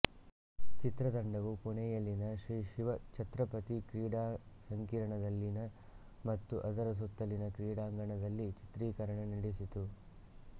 ಚಿತ್ರತಂಡವು ಪುಣೆಯಲ್ಲಿನ ಶ್ರೀ ಶಿವ್ ಛತ್ರಪತಿ ಕ್ರೀಡಾ ಸಂಕೀರ್ಣದಲ್ಲಿನ ಮತ್ತು ಅದರ ಸುತ್ತಲಿನ ಕ್ರೀಡಾಂಗಣದಲ್ಲಿ ಚಿತ್ರೀಕರಣ ನಡೆಸಿತು